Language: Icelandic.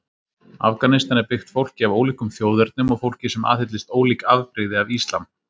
Afganistan er byggt fólki af ólíkum þjóðernum og fólki sem aðhyllist ólík afbrigði af islam.